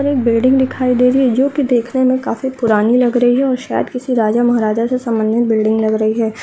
और एक बिल्डिंग दिखाई दे रही है जो की देखने में काफी पुरानी लग रही है और शायद किसी राजा-महाराज से सम्बंधित बिल्डिंग लग रही है।